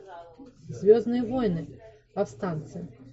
звездные войны повстанцы